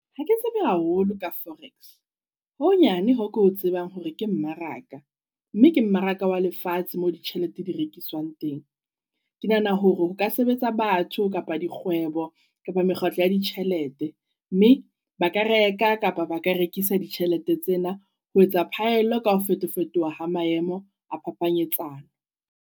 Ha ke tsebe haholo ka forex, ho honyane hoo ke o tsebang hore ke mmaraka. Mme ke mmaraka wa lefatshe mo ditjhelete di rekiswang teng. Ke nahana hore ho ka sebetsa batho kapa dikgwebo kapa mekgatlo ya ditjhelete. Mme ba ka reka kapa ba ka rekisa ditjhelete tsena. Ho etsa phaello ka ho feto-fetoha ha maemo a phaphanyetsano.